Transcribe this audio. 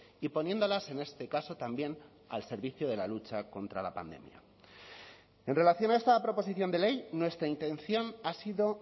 y poniéndolas en este caso también al servicio de la lucha contra la pandemia en relación a esta proposición de ley nuestra intención ha sido